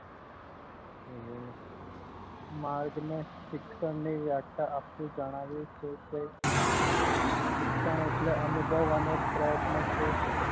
માણસ ને શિક્ષણ ની વ્યાખ્યા આપતા જણાવ્યું છે કે શિક્ષણ એટલે અનુભવ અને પ્રયત્ન કે